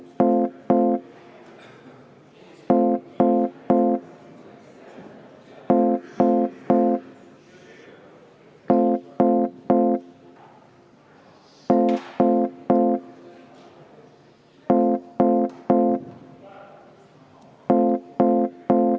Palun seda muudatusettepanekut hääletada!